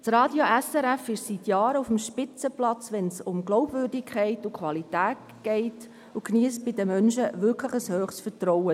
Das Radio SRF steht seit Jahren auf einem Spitzenplatz, wenn es um Glaubwürdigkeit und Qualität geht, und geniesst bei den Menschen grosses Vertrauen.